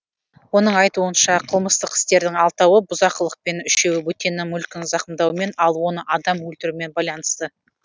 оның айтуынша қылмыстық істердің алтауы бұзақылықпен үшеуі бөтеннің мүлкін зақымдаумен ал оны адам өлтірумен байланысты